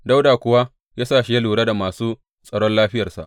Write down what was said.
Dawuda kuwa ya sa shi yă lura da masu tsaron lafiyarsa.